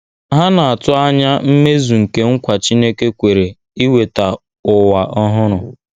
Ha na - atụ anya mmezu nke nkwa Chineke kwere iweta ụwa ọhụrụ.